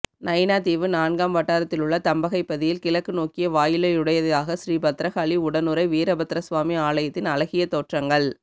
நயினாதீவு நான்காம் வட்டாரத்திலுள்ள தம்பகைப்பதியில் கிழக்கு நோக்கிய வாயிலையுடையதாக ஸ்ரீ பத்திரகாளி உடனுறை வீரபத்திரசுவாமி ஆலயத்தின் அழகிய தோற்றங்கள்